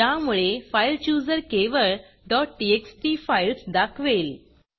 ज्यामुळे फाइल Chooserफाइल चुजर केवळ txt फाईल्स दाखवेल